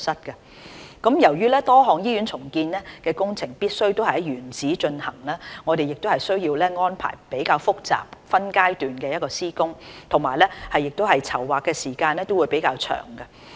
由於多項醫院重建工程必須在原址進行，我們需要安排非常複雜的分階段施工，而且籌劃時間亦會較長。